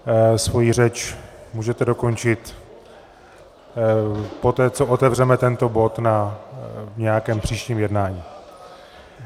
Svoji řeč můžete dokončit poté, co otevřeme tento bod na nějakém příštím jednání.